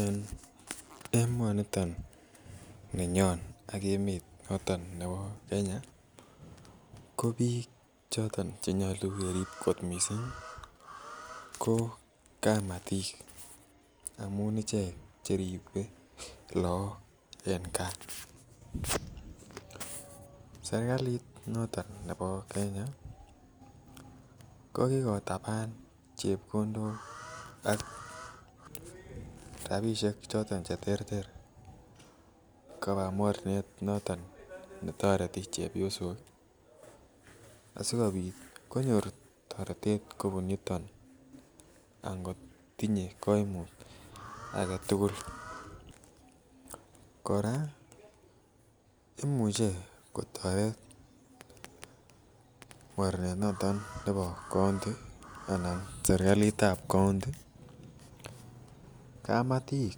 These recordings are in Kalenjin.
En emoniton ninyon ak emet noton nebo Kenya ko biik choton chenyolu kerib kot missing ko kamatik amun ichek cheribe look en gaa serkalit noton nebo Kenya kokotaban chepkondok ak rapisiek choton cheterter koba mornet noton netoreti chepyosok asikobit konyor toretet kobun yuton ak ngot tinye koimut aketugul kora imuche kotoret mornet noton nebo county anan serkalit ab county kamatik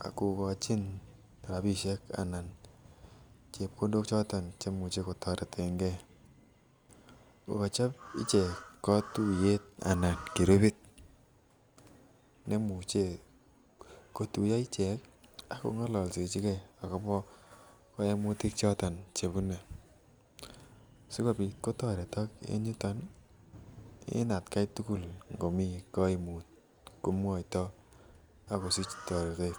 kokochin rapisiek anan chepkondok choton chemuche kotoreten gee kokochop icheket kotuiyet anan grupit nemuche kotuiyo ichek ak kong'ololsechigee akobo koimutik choton chebune sikopit kotoretok en yuton ih en atkai tugul ngomii koimut komwoitoo ak kosich toretet